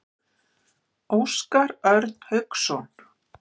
Óskar Örn Hauksson.